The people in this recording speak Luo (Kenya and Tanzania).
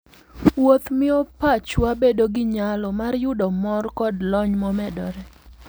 Wuoth miyo pachwa bedo gi nyalo mar yudo mor koda lony momedore.